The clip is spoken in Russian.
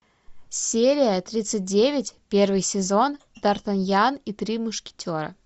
серия тридцать девять первый сезон дартаньян и три мушкетера